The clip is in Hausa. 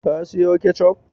Ka siyo ketchup?